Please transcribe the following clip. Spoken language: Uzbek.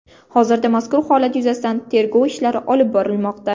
Hozirda mazkur holat yuzasidan tergov ishlari olib borilmoqda.